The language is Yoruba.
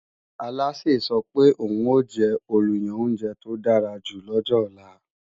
Alásè sọ pé òun ò jẹ́ olùyan oúnjẹ tó dára jù lọ́jọ ọ̀la